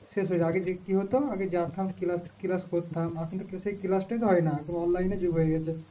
শেষ হয়ে আগে দিক কি হতো আগে যাথাম class class করতাম এখন তো সেই class তোই তো হয় না এখন online এর যুগ হয়ে গেছে